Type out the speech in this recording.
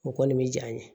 O kɔni bɛ ja ye